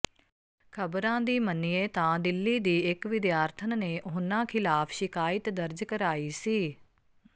ਖਬਰਾਂ ਦੀ ਮੰਨਿਏ ਤਾਂ ਦਿੱਲੀ ਦੀ ਇਕ ਵਿਦਿਆਰਥਣ ਨੇ ਉਨ੍ਹਾਂ ਖਿਲਾਫ ਸ਼ਿਕਾਇਤ ਦਰਜ ਕਰਾਈ ਸੀ